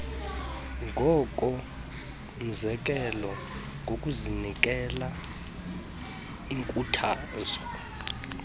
ngokomzekelo ngokunikela iinkuthazo